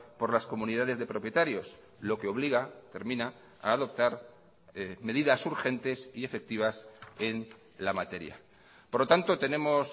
por las comunidades de propietarios lo que obliga termina a adoptar medidas urgentes y efectivas en la materia por lo tanto tenemos